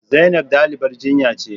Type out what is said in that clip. Zainab dalibar jinya ce